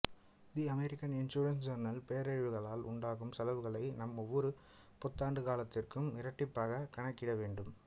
தி American insurance journal பேரழிவுகளால் உண்டாகும் செலவுகளை நாம் ஒவ்வொரு பத்தாண்டு காலத்திற்கும் இரட்டிப்பாக கணக்கிட வேண்டும்